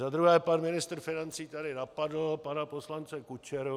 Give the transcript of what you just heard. Za druhé, pan ministr financí tady napadl pana poslance Kučeru.